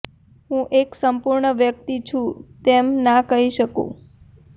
હું એક સંપૂર્ણ વ્યક્તિ છું તેમ ના કહી શકું